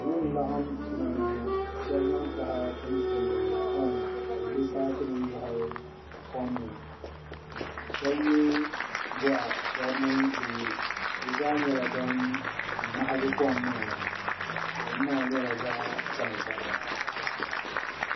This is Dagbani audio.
Salo n-laɣim tuma ni ŋɔ ka shɛba zaŋ taha tim toori kom ka bɛ lo paapunima lɔhi kom ni shɛba ye gɔɣa shɛba mi bɛ ye bɛ zaa nyɛla ban mahigi kom maa kom maa nyɛla zaɣ'tankpaɣu.